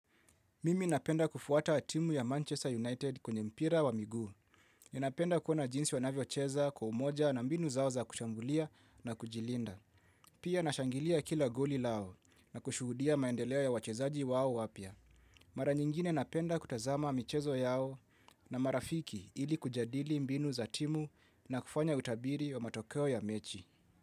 Mimi napenda kufuata timu ya Manchester United kwenye mpira wa miguu. Ninapenda kuona jinsi wanavyo cheza kwa umoja na mbinu zao za kushambulia na kujilinda. Pia nashangilia kila goli lao na kushuhudia maendeleo ya wachezaji wao wapya. Mara nyingine napenda kutazama michezo yao na marafiki ili kujadili mbinu za timu na kufanya utabiri wa matokeo ya mechi.